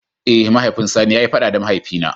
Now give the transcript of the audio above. Eh, mahaifin sani ya yi fada da mahaifi na.